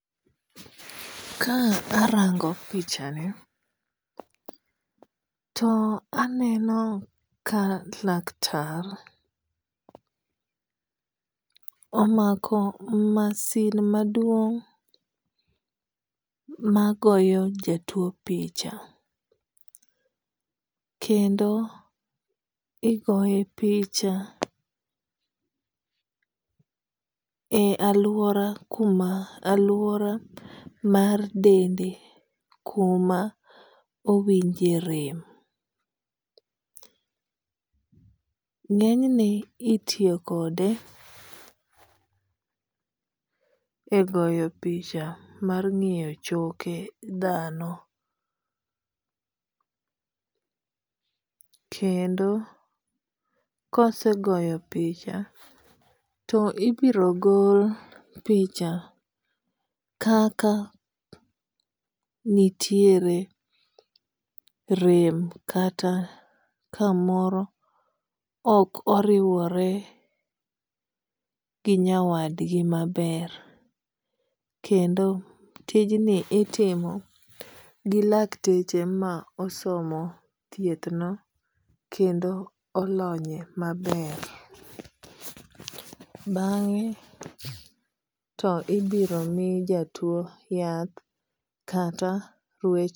Ka arango pichani to aneno ka laktar omako masin maduong' ma goyo jatuo picha kendo igoye picha e aluora kuma aluora mar dende kuma owinje rem. Ng'enyne itiyo kode e goyo picha mar ng'iyo choke dhano kendo kosegoyo picha to ibiro gol picha kaka nitiere rem kata kamoro ok oriwore gi nyawadgi maber. Kendo tijni itimo gi lakteche ma osomo thieth no kendo olonye maber. Bang'e to ibiro mi jatuo yath kata